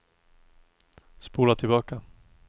spola tillbaka